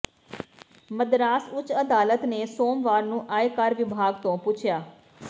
ਮਦਰਾਸ ਉਚ ਅਦਾਲਤ ਨੇ ਸੋਮਵਾਰ ਨੂੰ ਆਇਕਰ ਵਿਭਾਗ ਤੋਂ ਪੁੱਛਿਆ